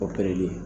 Opereli